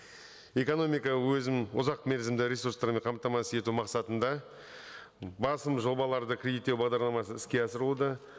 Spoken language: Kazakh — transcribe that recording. экономика өзін ұзақ мерзімді ресурстарымен қамтамасыз ету мақсатында басым жобаларды кредиттеу бағдарламасы іске асырылуда